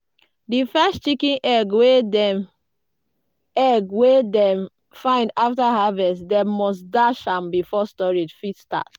di first chicken egg wey dem egg wey dem find after harvest dem must dash am before storage fit start.